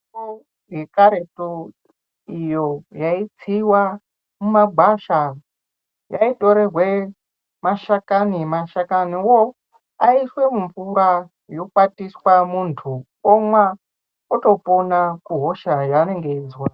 Mutombo yekaretu iyo yaitsiwa mumagwasha yaitorerwa mashakani mashakaniwo aiswa mumvura yokwatiswa munhu omwa otopona kuhosha yanenge achizwa.